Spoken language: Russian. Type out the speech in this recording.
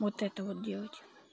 вот это вот делать